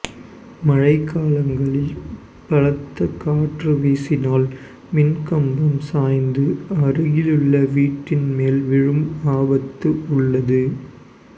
மழை காலங்களில் பலத்த காற்று வீசினால் மின்கம்பம் சாய்ந்து அருகில் உள்ள வீட்டின் மேல் விழும் ஆபத்து உள்ளது